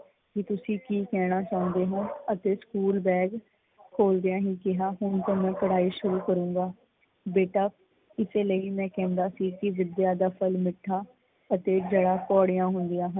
ਕੀ ਤੁਸੀਂ ਕੀ ਕਹਿਣਾ ਚਾਹੁੰਦੇ ਹੋ ਅਤੇ ਸਕੂਲ ਬੈਗ ਖੋਲਦਿਆਂ ਹੀ ਕਿਹਾ ਹੁਣ ਤੋਂ ਮੈਂ ਪੜਾਈ ਸ਼ੁਰੂ ਕਰੂਗਾਂ. ਬੇਟਾ ਇਸੇ ਲਈ ਮੈਂ ਕਹਿੰਦਾ ਸੀ ਵਿੱਦਿਆ ਦਾ ਫਲ ਮਿੱਠਾ ਅਤੇ ਜੜਾਂ ਕੌੜੀਆ ਹੁੰਦੀਆ ਹਨ।